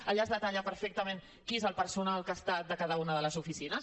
allà es detalla perfectament qui és el personal que ha estat a cada una de les oficines